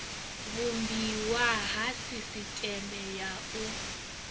vhumbiwa ha sisiteme ya u